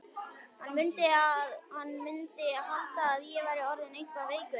Hann mundi halda að ég væri orðinn eitthvað veikur.